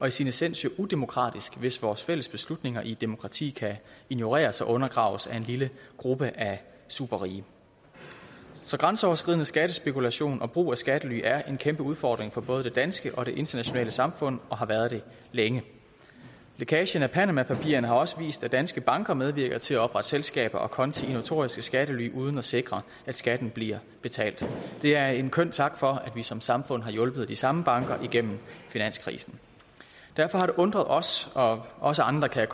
i sin essens udemokratisk hvis vores fælles beslutninger i et demokrati kan ignoreres og undergraves af en lille gruppe af superrige så grænseoverskridende skattespekulation og brug af skattely er en kæmpe udfordring for både det danske og det internationale samfund og har været det længe lækagen af panamapapirerne har også vist at danske banker medvirker til at oprette selskaber og konti i notoriske skattely uden at sikre at skatten bliver betalt det er en køn tak for at vi som samfund har hjulpet de samme banker igennem finanskrisen derfor har det undret os og også andre kan